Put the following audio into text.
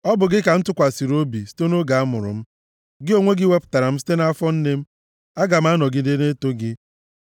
Ọ bụ gị ka m tụkwasịrị obi, site nʼoge amụrụ m; gị onwe gị wepụtara m site nʼafọ nne m. Aga m anọgide na-eto gị.